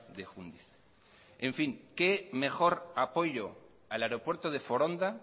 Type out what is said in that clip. de jundiz en fin qué mejor apoyo al aeropuerto de foronda